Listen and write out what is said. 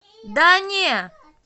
да не